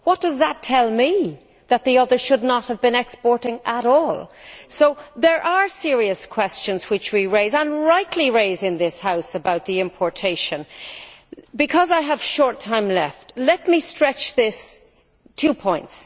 Does that tell us that the others should not have been exporting at all? There are serious questions which we raise and rightly raise in this House about this importation. I have a little time left, so let me stretch this with two points.